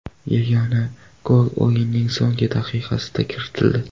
Yagona gol o‘yinning so‘nggi daqiqasida kiritildi.